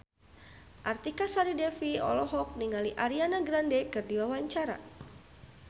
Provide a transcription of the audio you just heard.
Artika Sari Devi olohok ningali Ariana Grande keur diwawancara